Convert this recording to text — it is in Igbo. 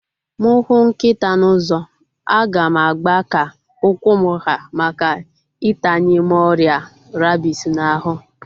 Mụ hụ nkịta n'ụzọ, a ga m agba ka ụkwụ m ha maka itanye m ọrịa rabies n'ahu